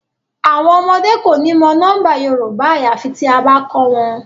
Awọn ọmọde ko ni mọ nọmba Yorùbá ayafi tia ba kọ wọn